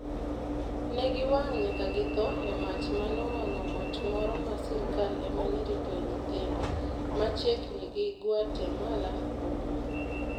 Ne giwang' nyaka githo e mach ma nowang'o ot moro ma sirkal ema ne ritoe nyithindo, machiegni gi Guatemala boma.